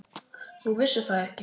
Þú vissir það ekki.